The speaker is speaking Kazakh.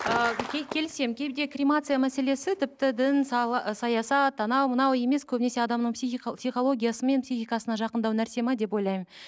ыыы келісемін кейде кремация мәселесі тіпті дін ы саясат анау мынау емес көбінесе адамның психологиясы мен психикасына жақындау нәрсе ме деп ойлаймын